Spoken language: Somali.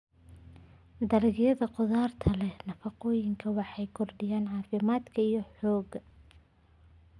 Dalagyada khudaarta leh nafaqooyin waxay kordhiyaan caafimaadka iyo xoogga.